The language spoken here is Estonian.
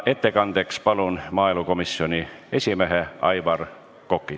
Ettekandeks palun kõnetooli maaelukomisjoni esimehe Aivar Koka.